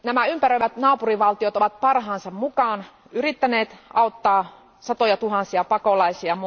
Ympäröivät naapurivaltiot ovat parhaansa mukaan yrittäneet auttaa satojatuhansia pakolaisia.